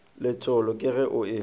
letšhologo ke ge o e